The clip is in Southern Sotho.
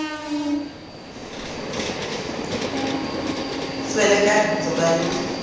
tswele ka ntlo ba yo